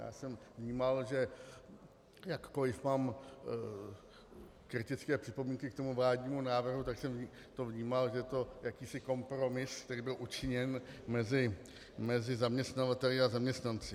Já jsem vnímal, že jakkoliv mám kritické připomínky k tomu vládnímu návrhu, tak jsem to vnímal, že je to jakýsi kompromis, který byl učiněn mezi zaměstnavateli a zaměstnanci.